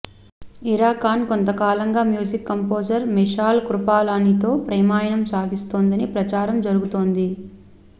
ఇరా ఖాన్ కొంతకాలంగా music composer Mishaal కృపాలానితో ప్రేమాయణం సాగిస్తుందని ప్రచారం జరుగుతోంది